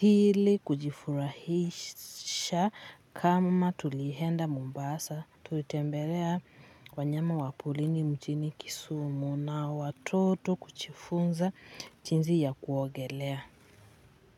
ili kujifurahisha kama tulienda Mombasa tulitembelea wanyama wa porini mjini Kisumu na watoto kujifunza jinsi ya kuogelea.